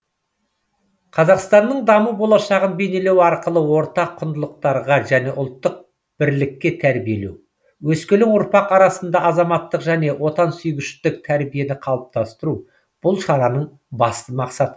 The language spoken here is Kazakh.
қазақстанның даму болашағын бейнелеу арқылы ортақ құндылықтарға және ұлттық бірлікке тәрбиелеу өскелең ұрпақ арасындағы азаматтық және отансүйгіштік тәрбиені қалыптасыру бұл шараның басты мақсаты